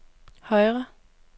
højre